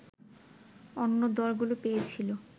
অন্য দলগুলো পেয়েছিল